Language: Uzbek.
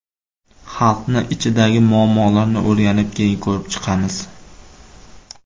Xalqni ichidagi muammolarni o‘rganib, keyin ko‘rib chiqamiz.